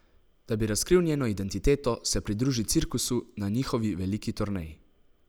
Da bi razkril njeno identiteto, se pridruži cirkusu na njihovi veliki turneji.